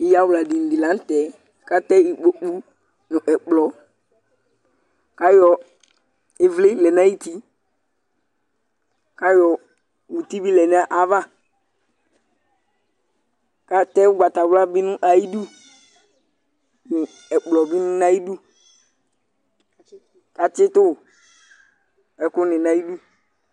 Ɩyawladini dɩ la nʋ tɛ kʋ atɛ ikpoku nʋ ɛkplɔ kʋ ayɔ ɩvlɩ lɛ nʋ ayuti kʋ ayɔ muti bɩ lɛ nʋ ayava kʋ atɛ ʋgbatawla bɩ nʋ ayidu nʋ ɛkplɔ bɩ nʋ ayidu kʋ atsɩtʋ ɛkʋnɩ nʋ ayidu